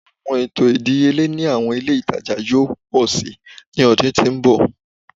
Awọn eto idiyele ni awọn ile itaja yoo pọ si ni ọdun to n bọ